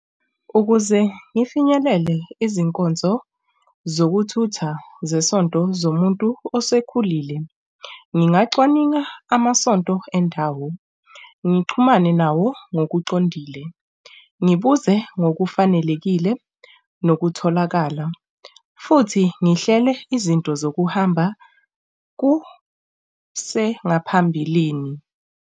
Ukuze ngifinyelele izinkonzo zokuthutha zesonto zomuntu osekhulile, ngingacwaninga amasonto endawo, ngixhumane nawo ngokuqondile ngibuze ngokufanelekile nokutholakala futhi ngihlele izinto zokuhamba kusengaphambilini.